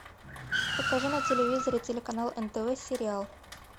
покажи на телевизоре телеканал нтв сериал